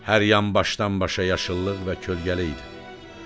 Hər yan başdan-başa yaşıllıq və kölgəli idi.